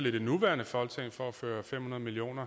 i det nuværende folketing for at føre fem hundrede million